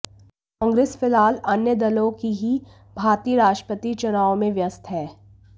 कांग्रेस फिलहाल अन्य दलों की ही भांति राष्ट्रपति चुनावों में व्यस्त है